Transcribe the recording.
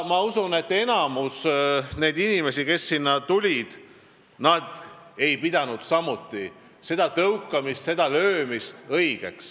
Ma usun, et enamik inimesi, kes sinna tulid, ei pidanud samuti seda tõukamist ega löömist õigeks.